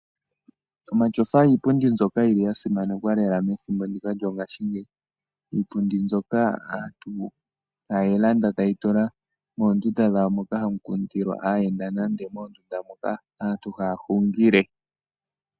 Omatyofa iipundi mbyoka yi li ya simanekwa lela methimbo ndika lyongaashingeyi. Iipundi mbyoka aantu haye yi landa taya tula moondunda dhawo moka hamu kundilwa aayenda nande moondunda moka aantu haya hungile.